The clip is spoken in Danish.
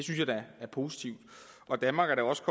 jeg da er positivt danmark er da også